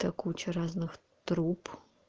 там куча разных труб